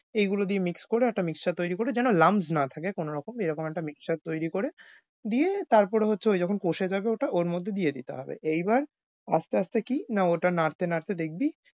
এইগুলো দিয়ে mix করে একটা mixer তৈরি করে যেন lamje না থাকে কোনোরকম। এরকম একটা mixer তৈরি করে দিয়ে তারপরে হচ্ছে ঐ যখন কষে যাবে ওটা ওর মধ্যে দিয়ে দিতে হবে। এইবার আস্তে আস্তে কি না ওটা নাড়তে নাড়তে দেখবি,